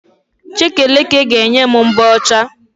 Chekeleke ga-enye m mbọ ọcha